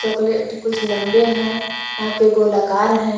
कुछ लंबे हैं। यहां पे गोलाकार है।